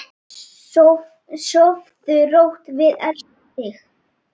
Sofðu rótt, við elskum þig.